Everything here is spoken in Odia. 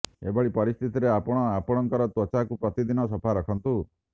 ଏଭଳି ପରିସ୍ଥିତିରେ ଆପଣ ଆପଣଙ୍କର ତ୍ୱଚାକୁ ପ୍ରତିଦିନ ସଫା ରଖନ୍ତୁ